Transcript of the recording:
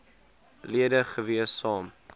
lede gewees saam